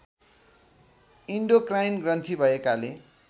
endocrine ग्रन्थी भएकाले